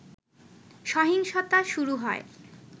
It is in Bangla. সহিংসতা শুরু হয়